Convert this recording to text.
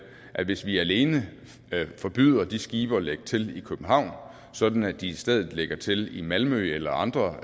at hvis vi alene forbyder de skibe at lægge til i københavn sådan at de i stedet lægger til i malmø eller andre